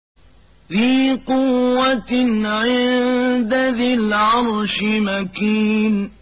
ذِي قُوَّةٍ عِندَ ذِي الْعَرْشِ مَكِينٍ